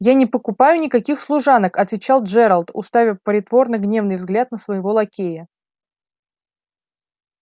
я не покупают никаких служанок отвечал джералд уставя притворно гневный взгляд на своего лакея